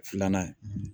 Filanan ye